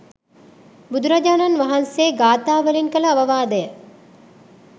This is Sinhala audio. බුදුරජාණන් වහන්සේ ගාථා වලින් කළ අවවාදය